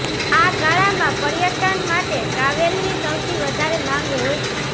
આ ગાળામાં પર્યટન માટે ટ્રાવેલની સૌથી વધારે માંગ હોય છે